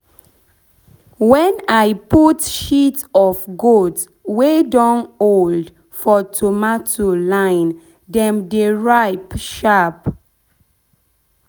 when i put shit of goat wey don old for tomato line dem dey ripe sharp.